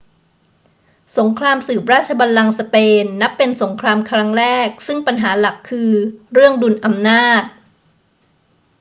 สงครามสืบราชบัลลังก์สเปนนับเป็นสงครามครั้งแรกซึ่งปัญหาหลักคือเรื่องดุลอำนาจ